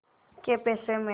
कै पैसे में